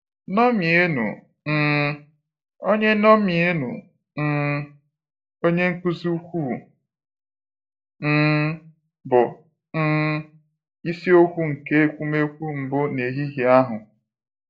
" Ñomienụ um Onye Ñomienụ um Onye nkụzi ukwuu " um bụ um isi okwu nke ekwumekwu mbụ n'ehihie ahụ.